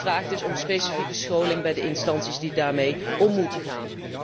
Dit vraagt dus om specifieke scholing bij de instanties die daarmee om moeten gaan.